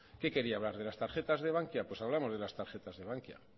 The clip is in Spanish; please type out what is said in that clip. qué quería hablar de las tarjetas de bankia pues hablamos de las tarjetas de bankia